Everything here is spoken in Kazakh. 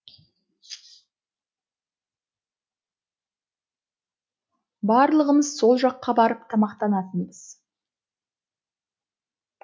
барлығымыз сол жаққа барып тамақтанатынбыз